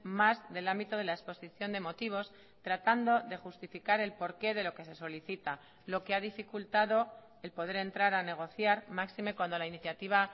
más del ámbito de la exposición de motivos tratando de justificar el porqué de lo que se solicita lo que ha dificultado el poder entrar a negociar máxime cuando la iniciativa